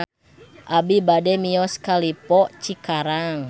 Abi bade mios ka Lippo Cikarang